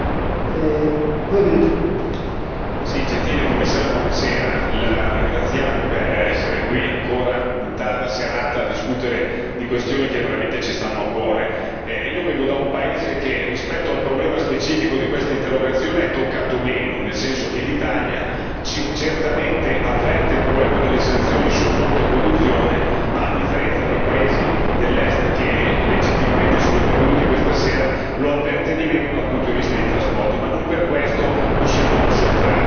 Signor Presidente, onorevoli colleghi, gentile Commissario, la ringraziamo per essere qui ancora in tarda serata a discutere di questioni che veramente ci stanno a cuore. Io vengo da un paese che, rispetto al problema specifico, di questa interrogazione è toccato meno, nel senso che l'Italia certamente avverte il problema delle sanzioni sul fronte produzione ma, a differenza dei paesi dell'Est che, legittimamente sono intervenuti questa sera, lo avverte di meno dal punto di vista dei trasporti, ma non per questo possiamo sottrarci.